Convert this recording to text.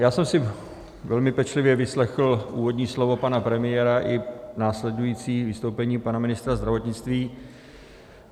Já jsem si velmi pečlivě vyslechl úvodní slovo pana premiéra i následující vystoupení pana ministra zdravotnictví.